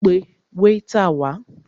Pẹ wáítà wá!